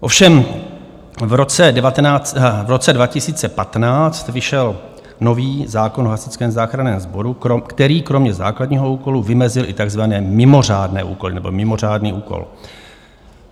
Ovšem v roce 2015 vyšel nový zákon o Hasičském záchranném sboru, který kromě základního úkolu vymezil i takzvané mimořádné úkoly nebo mimořádný úkol.